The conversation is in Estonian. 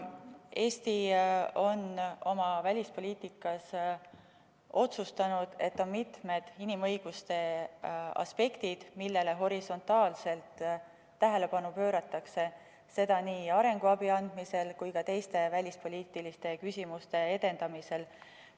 Eesti on oma välispoliitikas otsustanud, et on mitmed inimõiguste aspektid, millele horisontaalselt tähelepanu pööratakse, seda nii arenguabi andmisel kui ka teiste välispoliitiliste küsimuste edendamisel.